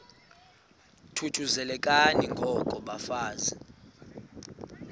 thuthuzelekani ngoko bafazana